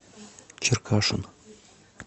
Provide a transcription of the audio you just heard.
черкашин